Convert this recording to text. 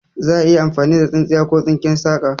Za'a iya amfani da tsintsiya ko tsinken saka